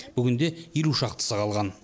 бүгінде елу шақтысы қалған